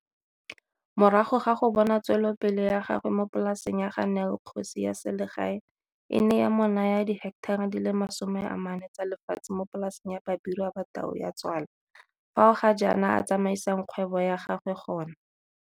Morago ga go bona tswelopele ya gagwe mo polaseng ya ga Nel kgosi ya selegae e ne ya mo naya diheketara di le 40 tsa le fatshe mo polaseng ya Babirwa Ba Tau Ya Tswala fao ga jaana a tsamaisang kgwebo ya gagwe gona.